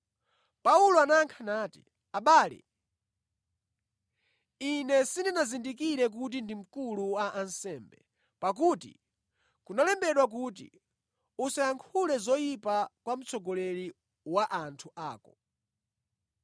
Paulo anayankha nati, “Abale, ine sindinazindikire kuti ndi mkulu wa ansembe; pakuti kunalembedwa kuti, ‘Usayankhule zoyipa kwa mtsogoleri wa anthu ako.’ ”